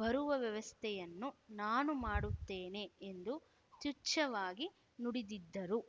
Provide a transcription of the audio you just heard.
ಬರುವ ವ್ಯವಸ್ಥೆಯನ್ನು ನಾನು ಮಾಡುತ್ತೇನೆ ಎಂದು ತುಚ್ಛವಾಗಿ ನುಡಿದಿದ್ದರು